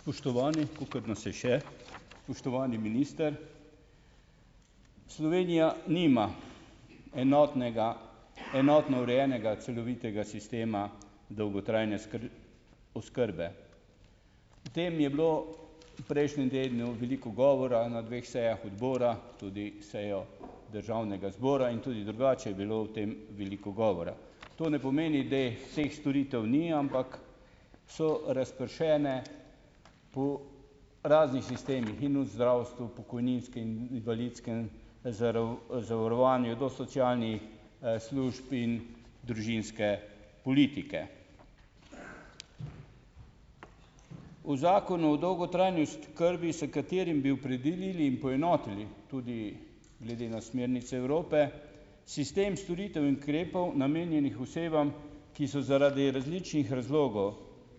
Spoštovani, kolikor nas je še, spoštovani minister. Slovenija nima enotnega enotno urejenega celovitega sistema dolgotrajne oskrbe. O tem je bilo v prejšnjem tednu veliko govora na dveh sejah odbora, tudi sejo državnega zbora in tudi drugače je bilo o tem veliko govora. To ne pomeni, da vseh storitev ni, ampak so razpršene po raznih sistemih, in v zdravstvu, pokojninski in invalidskem zavarovanju, do socialnih, služb in družinske politike. V Zakonu o dolgotrajni oskrbi, s katerim bi opredelili in poenotili, tudi glede na smernice Evrope, sistem storitev in ukrepov, namenjenih osebam, ki so zaradi različnih razlogov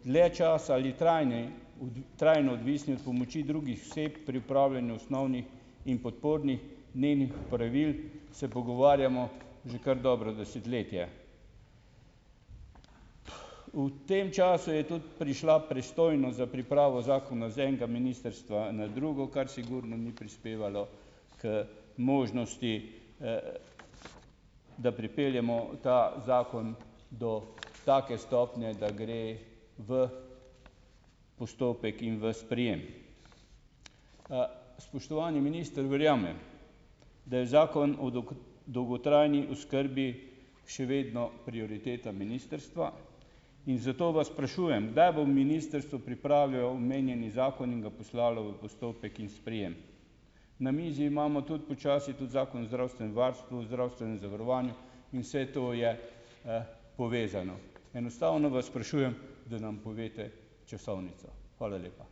dlje časa ali trajne trajno odvisni od pomoči drugih oseb pri opravljanju osnovnih in podpornih nenih opravil, se pogovarjamo že kar dobro desetletje. V tem času je tudi prišla pristojnost za pripravo zakona z enega ministrstva na drugo, kar sigurno ni prispevalo k možnosti, da pripeljemo ta zakon do take stopnje, da gre v postopek in v sprejem. Spoštovani minister, verjamem, da je Zakon o dolgotrajni oskrbi še vedno prioriteta ministrstva in zato vas sprašujem, kdaj bo ministrstvo pripravilo omenjeni zakon in ga poslalo v postopek in sprejem. Na mizi imamo tudi počasi tudi Zakon o zdravstvenem varstvu, zdravstvenem zavarovanju in vse to je, povezano. Enostavno vas sprašujem, da nam poveste časovnico. Hvala lepa.